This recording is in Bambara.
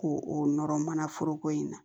K'o o nɔrɔ mana foroko in na